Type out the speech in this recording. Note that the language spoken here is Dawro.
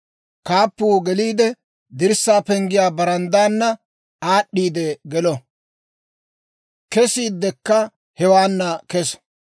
Kaappuu geliidde, dirssaa penggiyaa baranddaana aad'd'iide gelo; kesiiddekka hewaana keso.